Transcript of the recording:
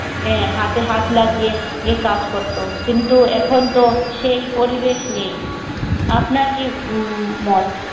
আহ হাতে হাত লাগিয়ে কাজ করতো কিন্তু এখন তো সেই পরিবেশ নেই আপনার কি উম মত